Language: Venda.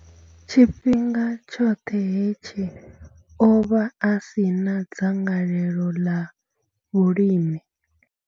Tshifhinga tshoṱhe hetshi, o vha a si na dzangalelo ḽa vhulimi.